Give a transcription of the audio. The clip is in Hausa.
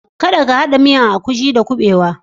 Kadda ka hada miyan agushi da kubewa.